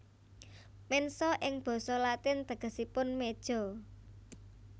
Mensa ing basa Latin tegesipun meja